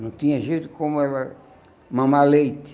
Não tinha jeito como ela mamar leite.